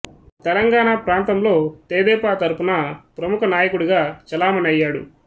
తెలంగాణ ప్రాంతంలో తెదేపా తరఫున ప్రముఖ నాయకుడిగా చెలామణి అయ్యాడు